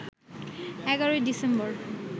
১১ December